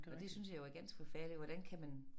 Og det synes jeg jo er ganske forfærdeligt hvordan kan man